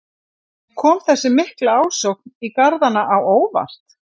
En kom þessi mikla ásókn í garðana á óvart?